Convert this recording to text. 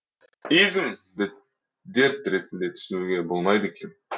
изм ді дерт ретінде түсінуге болмайды екен